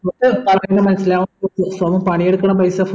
പറഞ്ഞാ മനസിലാവും സോമൻ പണിയെടുക്കുന്ന പൈസ